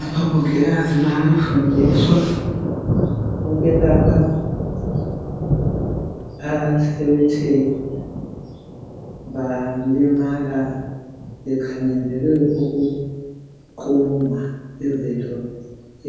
Abomungikazi bayafundiswa ukwelapha abathe balimala bekhangelelwe ukuqunywa izitho